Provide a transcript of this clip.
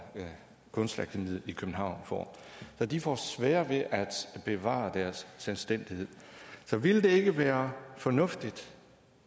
kunstakademiet i københavn får så de får sværere ved at bevare deres selvstændighed så ville det ikke være fornuftigt